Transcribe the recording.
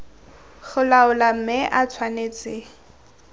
go laola mme e tshwanetse